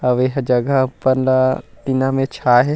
अउ एहा जगह ऊपर ला टीना में छा हे।